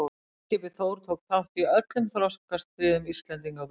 Varðskipið Þór tók þátt í öllum þorskastríðum Íslendinga og Breta.